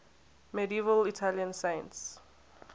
medieval italian saints